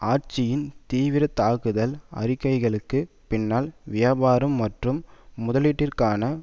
ஆட்சியின் தீவிர தாக்குதல் அறிக்கைகளுக்கு பின்னால் வியாபாரம் மற்றும் முதலீட்டிற்கான